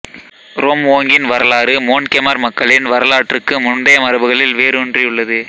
ரோம்வோங்கின் வரலாறு மோன்கெமர் மக்களின் வரலாற்றுக்கு முந்தைய மரபுகளில் வேரூன்றியுள்ளது